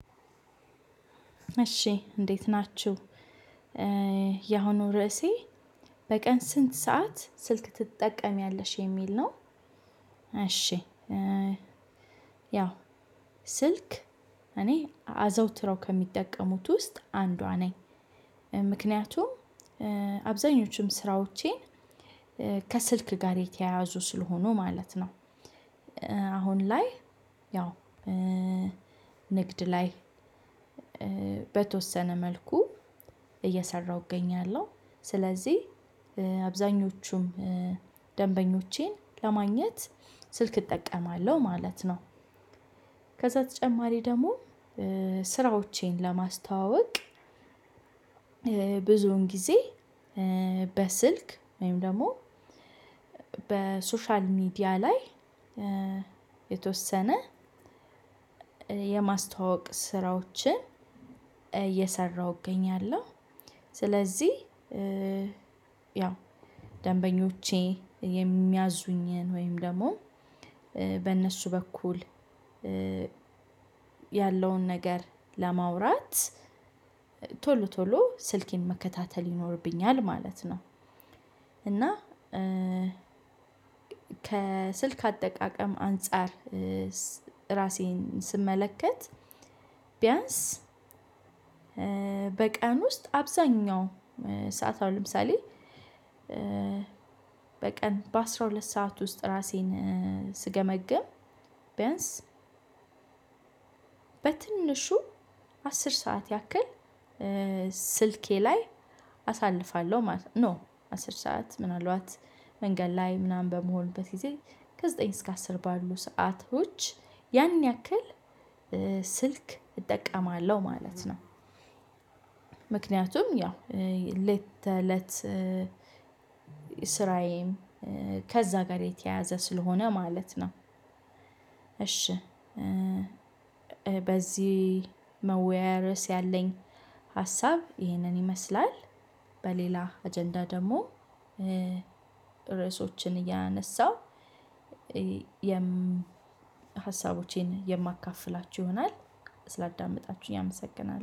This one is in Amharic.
እሺ እንዴት ናችሁ ያሁኑ ርዕሴ በቀን ስንት ሰዓት ስልክ ትጠቀሚያለሽ የሚል ነው? እሺ ያው ስልክ እኔ አዘውትረው ከሚጠቀሙት ውስጥ አንዷ ነኝ ምክንያቱም አብዛኞቹም ስራዎቼን ከስልክ ጋር የተያያዙ ስለሆኑ ማለት ነው። አሁን ላይ ያው ንግድ ላይ በተወሰነ መልኩ እየሰራሁ እገኛለሁ ስለዚህ አብዛኞቹም ደንበኞቼን ለማግኘት ስልክ እጠቀማለሁ ማለት ነው። ከዛ ተጨማሪ ደግሞ ስራዎቼን ለማስተዋወቅ ብዙን ጊዜ በስልክ ወይም ደግሞ በሶሻል ሚዲያ ላይ የተወሰነ የማስተዋወቅ ስራዎችን እየሰራሁ እገኛለሁ። ስለዚህ ያው ደንበኞቼ የሚያዙኝን ወይም ደግሞ በእነሱ በኩል ያለውን ነገር ለማውራት ቶሎ ቶሎ ስልኬን መከታተል ይኖርብኛል ማለት ነው። እና ከስልክ አጠቃቀም አንፃር እራሴን ስመለከት ቢያንስ በቀን ውስጥ አብዛኛው ሰዓት አሁን ለምሳሌ በቀን በአስራ ሁለት ሰዓት ውስጥ እራሴን ስገመግም ቢያንስ በትንሹ አስር ሰዓት ያክል ስልኬ ላይ አሳልፋለሁ ኖ አስር ሰዓት ምናልባት መንገድ ላይ ምናምን በመሆንበት ጊዜ ከዘጠኝ እስከ አስር ባሉ ሰአቶች ያን ያክል ስልክ እጠቀማለሁ ማለት ነው። ምክንያቱም ያው እለት ተለት ከዛ ጋር የተያያዘ ስለሆነ ማለት ነው። እሺ በዚህ መወያያ ርዕስ ያለኝ ሀሳብ ይህንን ይመስላል በሌላ አጀንዳ ደግሞ ርዕሶችን እያነሳው ሀሳቦቼን የማካፍላችሁ ይሆናል ስላዳመጣችሁኝ አመሰግናለሁ